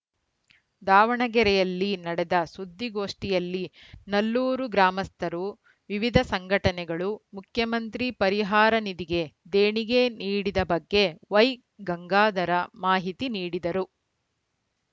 ದಾವಣಗೆರೆಯಲ್ಲಿ ನಡೆದ ಸುದ್ದಿಗೋಷ್ಠಿಯಲ್ಲಿ ನಲ್ಲೂರು ಗ್ರಾಮಸ್ಥರು ವಿವಿಧ ಸಂಘಟನೆಗಳು ಮುಖ್ಯಮಂತ್ರಿ ಪರಿಹಾರ ನಿಧಿಗೆ ದೇಣಿಗೆ ನೀಡಿದ ಬಗ್ಗೆ ವೈಗಂಗಾಧರ ಮಾಹಿತಿ ನೀಡಿದರು